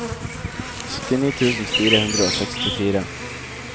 syttini tusen fire hundre og sekstifire